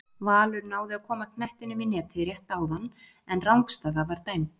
Valur náði að koma knettinum í netið rétt áðan en rangstaða var dæmd.